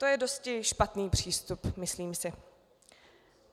To je dosti špatný přístup, myslím si.